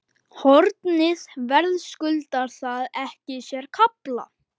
Hornið verðskuldar það ekki sér kafla?